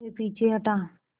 वह पीछे हटा